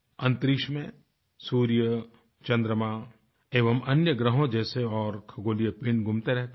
अंतरिक्ष में सूर्य चंद्रमा एवं अन्य ग्रहों जैसे और खगोलीय पिंड घूमते रहते हैं